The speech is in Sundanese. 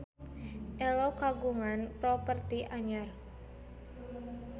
Ello kagungan properti anyar